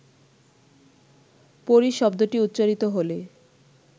পরী শব্দটি উচ্চারিত হলে